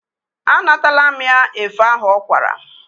A natala mụ ya efe ahụ ọ kwara.